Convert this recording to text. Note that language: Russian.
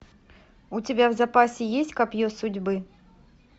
у тебя в запасе есть копье судьбы